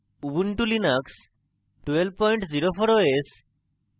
ubuntu linux 1204 os এবং